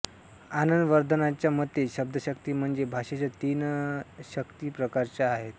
आनंदवर्धानाच्या मते शब्दशक्ती म्हणजे भाषेच्या शक्ती तीन प्रकारच्या आहेत